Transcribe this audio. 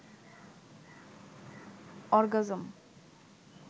orgasm